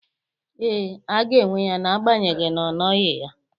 Ee, a ga-enwe ya na-agbanyegi na ọ nọghị ya.